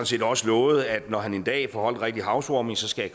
set også lovet at når han en dag får holdt en rigtig house warming skal